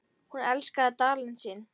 Hún elskaði Dalinn sinn.